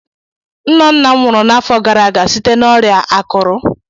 Nna nna m nwụrụ n'afọ gara aga site na ọrịa akụrụ